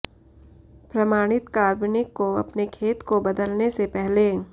प्रमाणित कार्बनिक को अपने खेत को बदलने से पहले